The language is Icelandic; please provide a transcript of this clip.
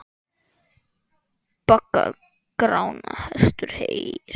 Baggar Grána hestur heys.